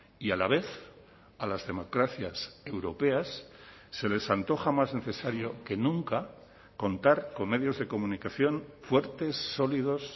y a la vez a las democracias europeas se les antoja más necesario que nunca contar con medios de comunicación fuertes sólidos